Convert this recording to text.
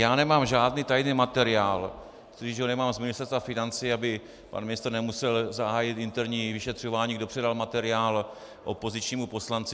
Já nemám žádný tajný materiál, tudíž ho nemám z Ministerstva financí, aby pan ministr nemusel zahájit interní vyšetřování, kdo předal materiál opozičnímu poslanci.